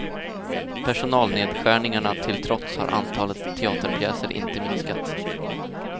Personalnedskärningarna till trots har antalet teaterpjäser inte minskat.